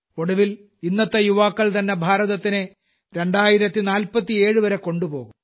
ഒടുവിൽ ഇന്നത്തെ യുവാക്കൾതന്നെ ഭാരതത്തിനെ 2047 വരെ കൊണ്ടുപോകും